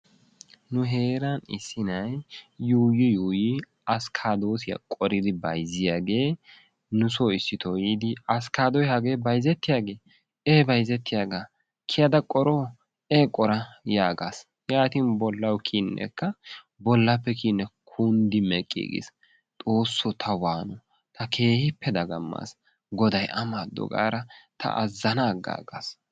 nu heeran issi nay yuuyi yuuyyi askaaddossiya qooridi bayzziyaage nusso issitoo yiidi 'askkaddoy hage bayzzettiyaagee' e bayzzetiyaaga, kiyyada qoroo? e qora yaagas. yaatin bollaw kiyyinekka bollappe kiyyine kunddi meqqigiis. Xoossaw ta waano, ta keehippe dagammaaga, goday a maado gaada ta azzana agaggaas.